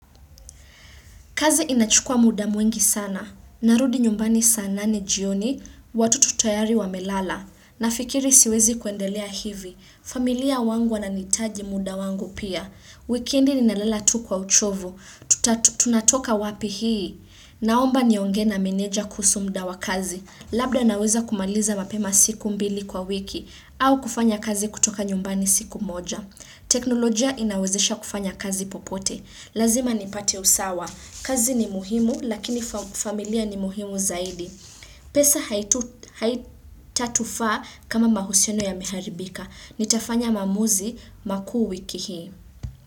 Kazi inachukua muda mwingi sana, narudi nyumbani sana ni jioni, watoto tayari wamelala, nafikiri siwezi kuendelea hivi, familia wangu wananihitaji muda wangu pia, weekendi ninalala tu kwa uchovu, tunatoka wapi hii, naomba niongee na meneja kuhusu muda wa kazi, labda naweza kumaliza mapema siku mbili kwa wiki, au kufanya kazi kutoka nyumbani siku moja. Teknolojia inawezesha kufanya kazi popote Lazima nipate usawa kazi ni muhimu lakini familia ni muhimu zaidi pesa haitatufaa kama mahusiano yameharibika Nitafanya maamuzi makuu wiki hii.